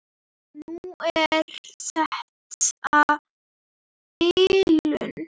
Núna er þetta bilun.